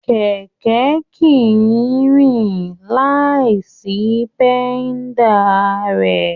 Kẹkẹ kìí rìn láì sí pẹ̀da rẹ.